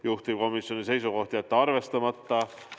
Juhtivkomisjoni seisukoht: jätta arvestamata.